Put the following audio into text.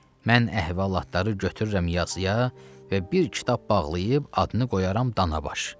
Mən əhvalatları götürürəm yazıya və bir kitab bağlayıb adını qoyaram Danabaş.